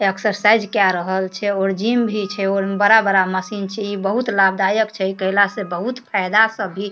exercise के रहल छै और जिम भी छै बड़ा-बड़ा मशीन छै बहुत लाभ दायक छै इ कएला बहुत फ़ायदा सब भी --